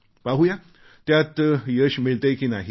पाहू या त्यात यश मिळतेय की नाही ते